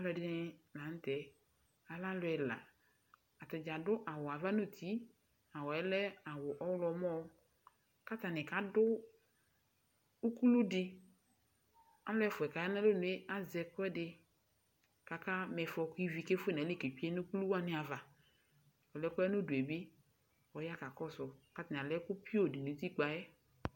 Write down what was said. Alu ɛdɩnɩ la nʋ tɛ Alɛ alu ɛla Atadza adu awu ava nʋ uti Awu yɛ lɛ awu ɔɣlɔmɔ Kʋ atani kadu ukulu di Alu ɛfʋa yɛ kʋ aya nʋ alɔnʋ yɛ azɛ ɛkʋɛdɩ kʋ akama ɩfɔ, kʋ ivi kefue nʋ ayili ketsue nʋ ukulu wani ava Ɔlʋ yɛ kʋ ɔya nʋ ʋdʋ yɛ bɩ, ɔya kakɔsʋ Kʋ atani alɛ ɛkʋpioo di nʋ utikpǝ yɛ